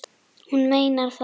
Hún meinar það.